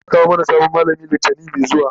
za'a kawo mana sabon mallami litani Mai zuwa